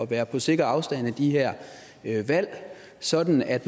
være på sikker afstand af de her valg sådan at